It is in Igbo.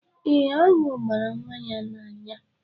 Eh, aṅụ gbara nwa ya n'anya.